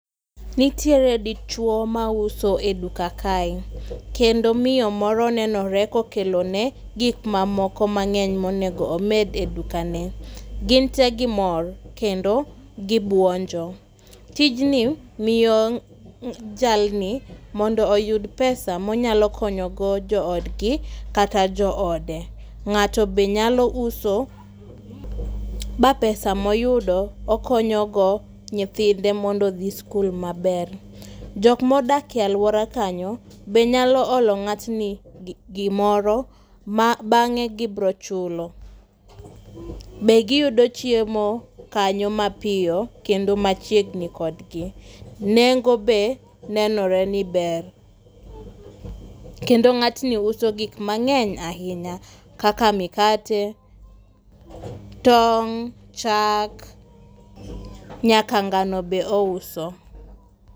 Nitiere dichwo ma uso e duka kae. Kendo miyo moro nenore kokelone gik ma moko mangény monego omed e dukane. Gin te gimor, kendo gibuonjo. Tijni miyo jalni, mondo oyud pesa ma onyalo konyo go jo odgi, kata joode. Ngáto be nyalo uso ba pesa ma oyudo okonyo go nyithinde mondo odhi sikul maber. Jokma odak e alwora kanyo, be nyalo olo ngátni gi gimoro ma bangé gibiro chulo. Be giyudo chiemo kanyo ma piyo kendo machiegni kodgi. Nengo be nenore ni ber. Kendo ngátni uso gik mangénya ahinya. Kaka mikate, tong', chak, nyaka ngano be ouso.